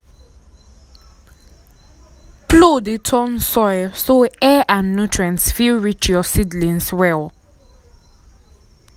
plow dey turn soil so air and nutrients fit reach your seedlings well.